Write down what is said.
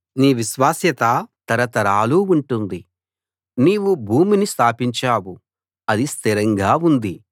నీ విశ్వాస్యత తరతరాలు ఉంటుంది నీవు భూమిని స్థాపించావు అది స్థిరంగా ఉంది